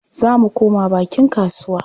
Za mu koma bakin kasuwa.